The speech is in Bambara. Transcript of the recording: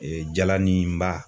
jalaninba.